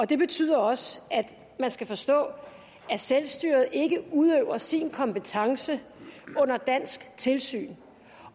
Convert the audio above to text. det betyder også at man skal forstå at selvstyret ikke udøver sin kompetence under dansk tilsyn